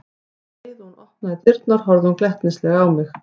Um leið og hún opnaði dyrnar horfði hún glettnislega á mig.